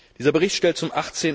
Dieser Bericht stellt zum